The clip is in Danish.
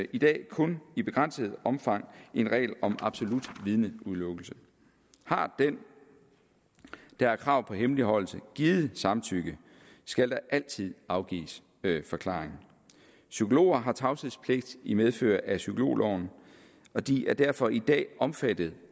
i dag kun i begrænset omfang en regel om absolut vidneudelukkelse har den der har krav på hemmeligholdelse givet samtykke skal der altid afgives forklaring psykologer har tavshedspligt i medfør af psykologloven og de er derfor i dag er omfattet